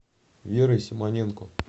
верой симоненко